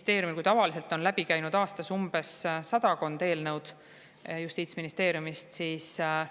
Veel kord: kui tavaliselt on Justiitsministeeriumist aastas läbi käinud sadakond eelnõu, siis tänavu